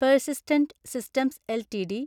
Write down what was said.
persistent Systems LTD